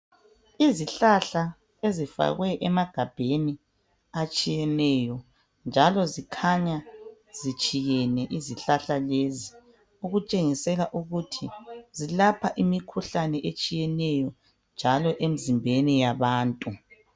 Izihlahla ezifakwe emagabheni atshiyeneyo njalo ezikhanya zitshiyene izihlahla lezi okutshengisela ukuthi zilapha imikhuhlane etshiyeneyo njalo emzimbeni yabantu.